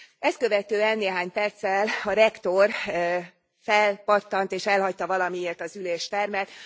Ezt követően néhány perccel a rektor felpattant, és elhagyta valamiért az üléstermet.